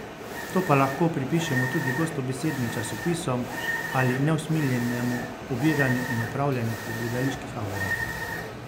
To pa lahko pripišemo tudi gostobesednim časopisom ali neusmiljenemu obiranju in opravljanju po gledaliških avlah.